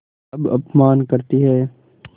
अब अपमान करतीं हैं